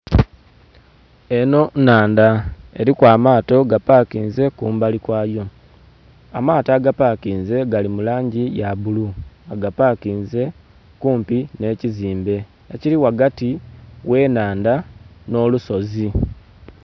Eno nnhandha eriku amaato gapakinze kumbali kwayo. Amaato agapakinze gali mu langi ya bbulu, bagapakinze kumpi n'ekizimbe ekiri ghagati gh'ennhandha n'olusozi.